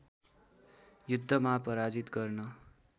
युद्धमा पराजित गर्न